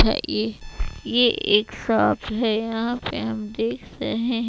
ये ये एक शॉप है यहां पे हम देख रहे--